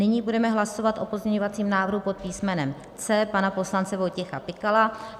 Nyní budeme hlasovat o pozměňovacím návrhu pod písmenem C pana poslance Vojtěcha Pikala.